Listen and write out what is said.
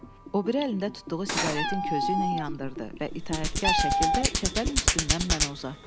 O biri əlində tutduğu siqaretin közü ilə yandırdı və itaətkar şəkildə çəpərin üstündən mənə uzatdı.